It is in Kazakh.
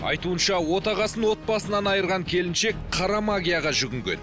айтуынша отағасын отбасынан айырған келіншек қара магияға жүгінген